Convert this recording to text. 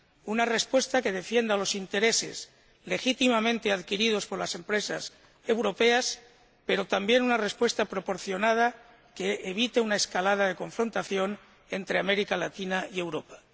Una respuesta que defienda los intereses legítimamente adquiridos por las empresas europeas, pero también una respuesta proporcionada que evite una escalada de confrontación entre América Latina y Europa.